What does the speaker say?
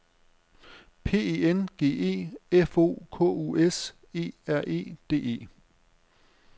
P E N G E F O K U S E R E D E